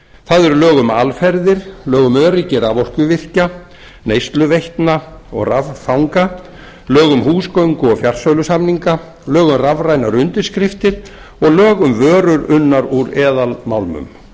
það eru lög um aðferðir lög um öryggi raforkuvirkja neysluveitna og raffanga lög um húsgöngu og fjarsölusamninga lög um rafrænar undirskriftir og lög um vörur unnar úr eðalmálmum